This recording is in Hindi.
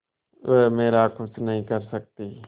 वह मेरा कुछ नहीं कर सकती